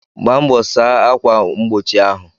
Gbaa mbọ saa akwa mgbochi ahụ!